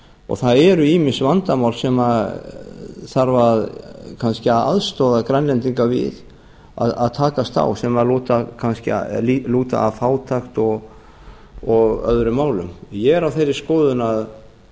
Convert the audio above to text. og það eru ýmis vandamál sem þarf kannski að aðstoða grænlendigna við að takast á við sem lúta að fátækt og öðrum málum ég er á þeirri skoðun